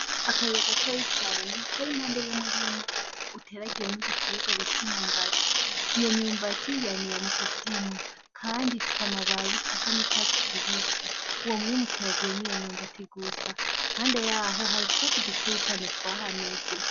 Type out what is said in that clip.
Akayira gatoyi cane kari impande y‘ umurima uteragiyemwo igiterwa bita umwumbati. Iyo myumbati yamira mu kuzimu kandi ifise amababi asa n‘ icatsi kibisi , uwo murima uteragiyemwo imyumbati gusa, impande yaho hari utwasi dukeya twahameze .